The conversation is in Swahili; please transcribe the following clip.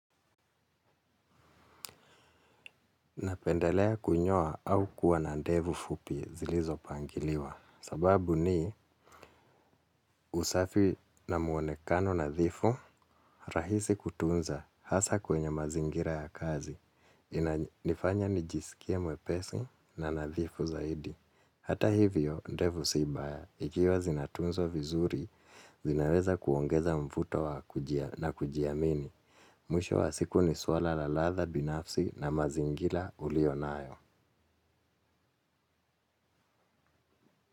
Napendelea kunyoa au kuwa na ndevu fupi zilizo pangiliwa, sababu ni usafi na muonekano nadhifu rahisi kutunza hasa kwenye mazingira ya kazi, nifanya nijisikia mwepesi na nadhifu zaidi. Hata hivyo ndevu si mbaya ikiwa zinatunzwa vizuri zinaweza kuongeza mvuto wa na kujiamini. Mwisho wa siku ni swala la latha binafsi na mazingira ulionayo.